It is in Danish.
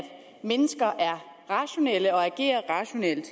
mennesker er rationelle og agerer rationelt